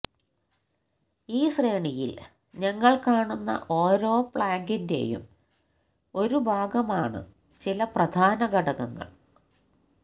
ഈ ശ്രേണിയിൽ ഞങ്ങൾ കാണുന്ന ഓരോ പ്ലാങ്ങിന്റെയും ഒരു ഭാഗമാണ് ചില പ്രധാന ഘടകങ്ങൾ